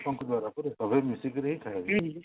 ଏତ ସମସ୍ତଙ୍କର ପର୍ବ ସବୁ ମିଶିକରି ହିଁ ଖାଇବେ